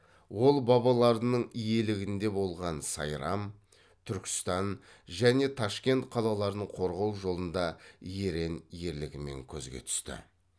ол бабаларының иелігінде болған сайрам түркістан және ташкент қалаларын қорғау жолында ерен ерлігімен көзге түсті